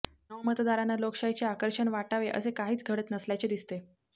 नवमतदारांना लोकशाहीचे आकर्षण वाटावे असे काहीच घडत नसल्याचे दिसते